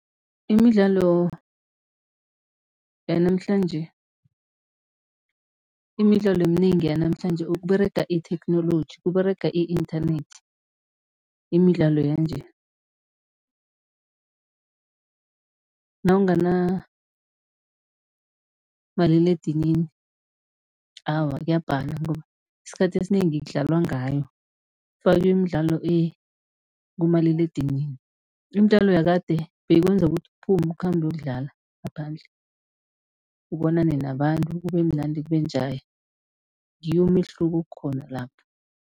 Imidlalo yanamhlanje, imidlalo eminengi yanamhlanje, kUberega itheknoloji, kUberega i-internet. Imidlalo yanje nawunganamaliledinini, awa kuyabhadala ngoba isikhathi esinengi kudlalwa ngayo, kufakiwa imidlalo kumaliledinini. Imidlalo yakade beyikwenza ukuthi uphume, ukhambe, uyokudlala ngaphandle, ubonane nabantu kubemnandi, kube njaya, ngiwo umehluko okhona lapho.